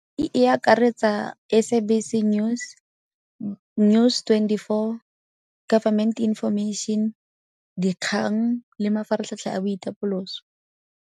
E akaretsa SABC News, News twenty-four, Government Information, dikgang le mafaratlhatlha a boitapoloso.